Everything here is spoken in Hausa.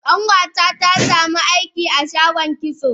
kanwata ta samu aiki a shagon kitso.